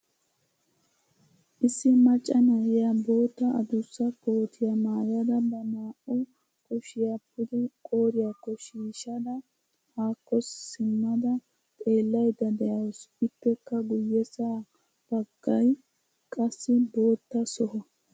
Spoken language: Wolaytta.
Issi maccaa na7iya bootta adussaa kotiya maayada ba naa7u kuushshiyaa pudde qoriyako shiishshada hako siimada xeelaydda de7ausu ippekka guyesa bagay qassi bootta soho.